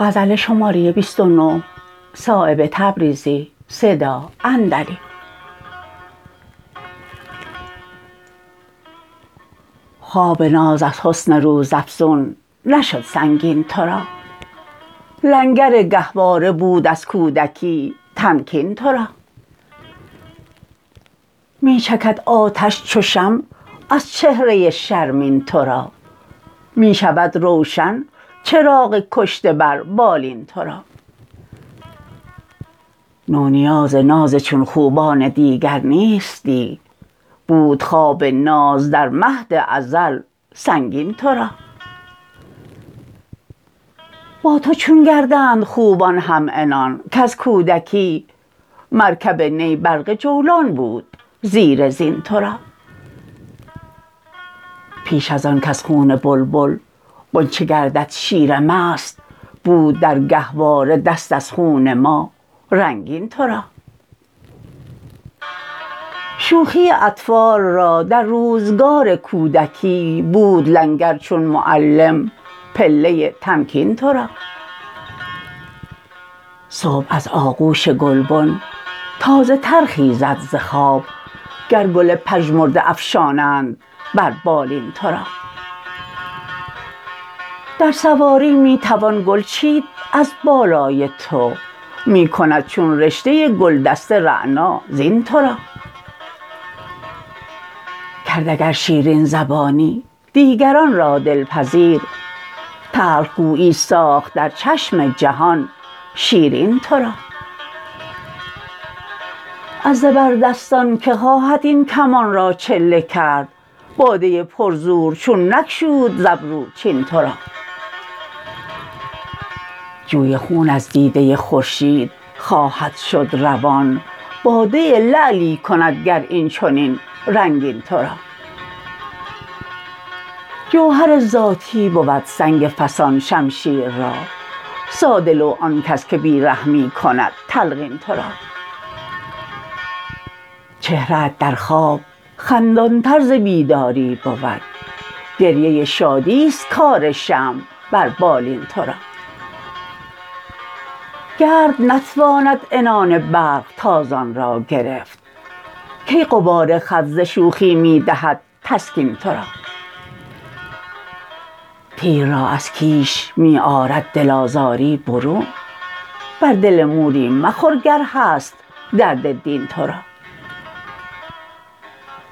خواب ناز از حسن روزافزون نشد سنگین ترا لنگر گهواره بود از کودکی تمکین ترا می چکد آتش چو شمع از چهره شرمین ترا می شود روشن چراغ کشته بر بالین ترا نونیاز ناز چون خوبان دیگر نیستی بود خواب ناز در مهد ازل سنگین ترا با تو چون گردند خوبان هم عنان کز کودکی مرکب نی برق جولان بود زیر زین ترا پیش از آن کز خون بلبل غنچه گردد شیر مست بود در گهواره دست از خون ما رنگین ترا شوخی اطفال را در روزگار کودکی بود لنگر چون معلم پله تمکین ترا صبح از آغوش گلبن تازه تر خیزد ز خواب گر گل پژمرده افشانند بر بالین ترا در سواری می توان گل چید از بالای تو می کند چون رشته گلدسته رعنا زین ترا کرد اگر شیرین زبانی دیگران را دلپذیر تلخ گویی ساخت در چشم جهان شیرین ترا از زبردستان که خواهد این کمان را چله کرد باده پرزور چون نگشود از ابرو چین ترا جوی خون از دیده خورشید خواهد شد روان باده لعلی کند گر این چنین رنگین ترا جوهر ذاتی بود سنگ فسان شمشیر را ساده لوح آن کس که بی رحمی کند تلقین ترا چهره ات در خواب خندان تر ز بیداری بود گریه شادی است کار شمع بر بالین ترا گرد نتواند عنان برق تازان را گرفت کی غبار خط ز شوخی می دهد تسکین ترا تیر را از کیش می آرد دل آزاری برون بر دل موری مخور گر هست درد دین ترا